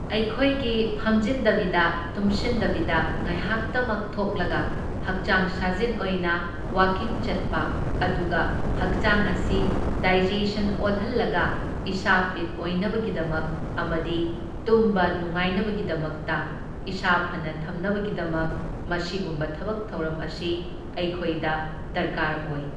ꯑꯩꯈꯣꯏꯒꯤ ꯐꯝꯖꯤꯟꯗꯕꯤꯗ ꯇꯨꯝꯁꯤꯟꯗꯕꯤꯗ ꯉꯥꯏꯍꯥꯛꯇꯃꯛ ꯊꯣꯛꯂꯒ ꯍꯛꯆꯥꯡ ꯁꯥꯖꯦꯟ ꯑꯣꯏꯅ ꯋꯥꯀꯤꯡ ꯆꯠꯄ ꯑꯗꯨꯒ ꯍꯛꯆꯥꯡ ꯑꯁꯤ ꯗꯥꯏꯖꯦꯁꯟ ꯑꯣꯏꯍꯜꯂꯒ ꯏꯁꯥ ꯐꯤꯠ ꯑꯣꯏꯅꯕꯒꯤꯗꯃꯛ ꯑꯃꯗꯤ ꯇꯨꯝꯕ ꯅꯨꯡꯉꯥꯏꯅꯕꯗꯒꯤꯗꯃꯛꯇ ꯏꯁꯥ ꯐꯅ ꯊꯝꯅꯕꯒꯤꯗꯃꯛ ꯃꯁꯤꯒꯨꯝꯕ ꯊꯕꯛ ꯊꯧꯔꯝ ꯑꯁꯤ ꯑꯩꯈꯣꯏꯗ ꯗꯔꯀꯥꯔ ꯑꯣꯏ꯫